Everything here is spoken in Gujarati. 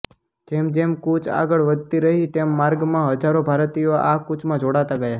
જેમ જેમ કૂચ આગળ વધતી રહી તેમ માર્ગમાં હજારો ભારતીયો આ કૂચમાં જોડાતા ગયા